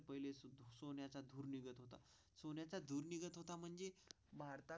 सोन्याचा धूर निघत होता म्हणजे भारतात.